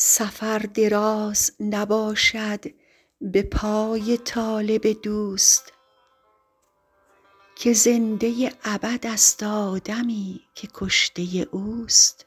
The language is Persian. سفر دراز نباشد به پای طالب دوست که زنده ابدست آدمی که کشته اوست